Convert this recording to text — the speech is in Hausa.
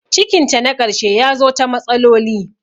Cikin ta na karshe yazo ta matsaloli